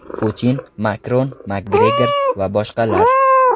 Putin, Makron, Makgregor va boshqalar.